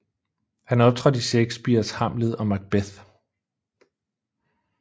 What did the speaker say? Han optrådte i Shakespeares Hamlet og Macbeth